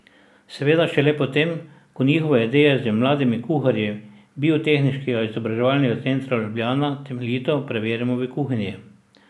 Seveda šele potem, ko njihove ideje z mladimi kuharji Biotehniškega izobraževalnega centra Ljubljana temeljito preverimo v kuhinji.